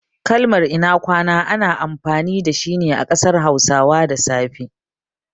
Kalmar "ina kwana" ana amfani dashi ne a ƙasar hausawa da safe.